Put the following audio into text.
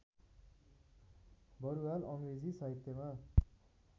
बरुवाल अङ्ग्रेजी साहित्यमा